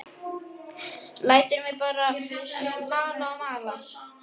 Lætur mig bara mala og mala.